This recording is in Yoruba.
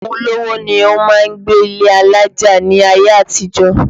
Àwọn olówó ni ó máa ń gbé ilé alájà ní ayé àtijó